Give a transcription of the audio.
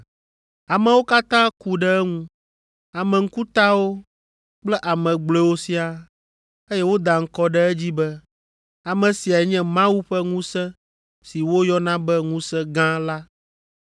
Amewo katã ku ɖe eŋu; ame ŋkutawo kple ame gblɔewo siaa, eye woda ŋkɔ ɖe edzi be, “Ame siae nye Mawu ƒe ŋusẽ si woyɔna be Ŋusẽ Gã” la.